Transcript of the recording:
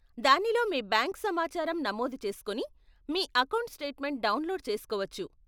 దానిలో మీ బ్యాంకు సమాచారం నమోదు చేస్కొని మీ అకౌంట్ స్టేట్మెంట్ డౌన్లోడ్ చేసుకోవచ్చు.